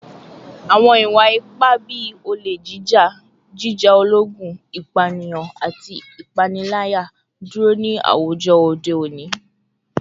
Awọn iwa-ipa bii ole jija, jija ologun, ipaniyan, ati ipanilaya duro ni awujọ ode oni